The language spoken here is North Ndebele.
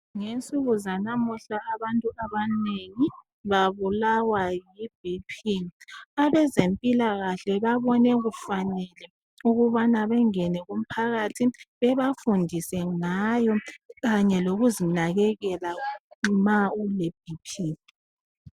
Ngesuku zanamuhla abantu abanengi babulawa yi BP. Abezempilakahle babone kufanele ukubana bengene kumphakathi bebafundise ngayo Kanye lokuzinakakela ma ule BP.